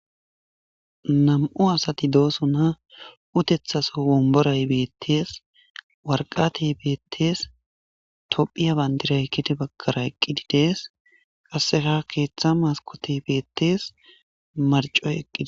Nam7u asati doosona utethaso womboray bettees warqatey beettees tophiya bandira gede bagara eqqidi dees qasse keeththa maskoti beettes marcoy eqqidi.